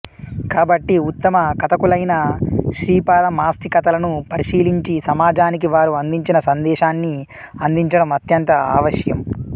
కాబట్టి ఉత్తమ కథకులైన శ్రీపాద మాస్తి కథలను పరిశీలించి సమాజానికి వారు అందించిన సందేశాన్ని అందించడం అత్యంత ఆవశ్యం